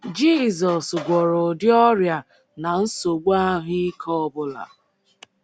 Jizọs gwọrọ ụdị ọrịa na nsogbu ahụ́ ike ọ bụla